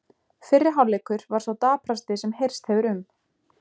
Fyrri hálfleikur var sá daprasti sem heyrst hefur um.